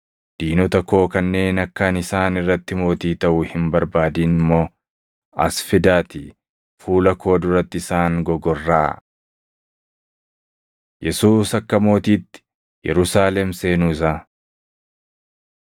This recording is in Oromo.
diinota koo kanneen akka ani isaan irratti mootii taʼu hin barbaadin immoo as fidaatii fuula koo duratti isaan gogorraʼaa.’ ” Yesuus Akka Mootiitti Yerusaalem Seenuu Isaa 19:29‑38 kwf – Mat 21:1‑9; Mar 11:1‑10 19:35‑38 kwf – Yoh 12:12‑15